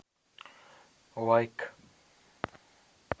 лайк